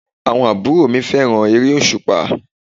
Àwọn àbúrò mi fẹ́ràn eré òsùpá